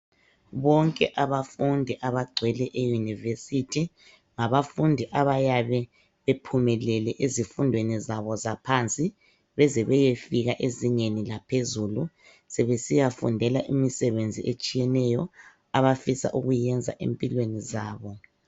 Bonke abafundi abagcwele e university, ngabafundi abayabe bephumelele ezifundweni zabo zaphansi beze beyefika ezingeni laphezulu sebesiya fundela imisebenzi etshiyeneyo, abafisa ukuyenza ezimpilweni zabo.